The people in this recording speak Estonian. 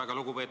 Aitäh!